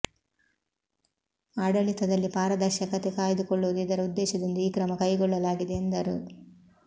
ಆಡಳಿತದಲ್ಲಿ ಪಾರದರ್ಶಕತೆ ಕಾಯ್ದುಕೊಳ್ಳುವುದು ಇದರ ಉದ್ದೇಶದಿಂದ ಈ ಕ್ರಮ ಕೈಗೊಳ್ಳಲಾಗಿದೆ ಎಂದರು